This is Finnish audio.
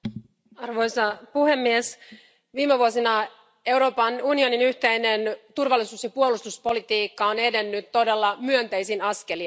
Arvoisa puhemies, viime vuosina Euroopan unionin yhteinen turvallisuus ja puolustuspolitiikka on edennyt todella myönteisin askelin.